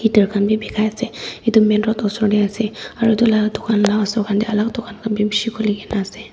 heater khan bi bikai ase edu main road osor tae ase aro edu laka dukan laka osor khan tae alak dukan khan bi bishi khuli kaenase.